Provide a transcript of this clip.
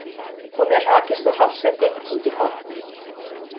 Hún hefur hrakist úr hásæti út í horn.